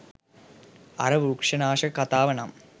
අර වෘක්ෂනාශක කතාව නම්